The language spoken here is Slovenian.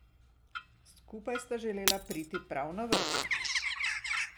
Skupaj sta želela priti prav na vrh.